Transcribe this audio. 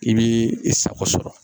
I b'i i sago sɔrɔ